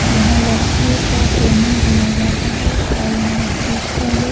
यहाँ लड़कियों का ट्रेनिंग दिया जाता है और यहाँ सिस्टम --